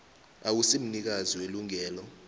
awusi mnikazi welungelo